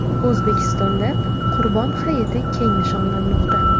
O‘zbekistonda Qurbon hayiti keng nishonlanmoqda.